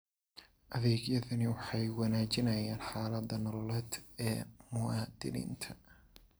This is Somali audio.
Adeegyadani waxay wanaajiyaan xaaladda nololeed ee muwaadiniinta.